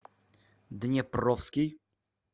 днепровский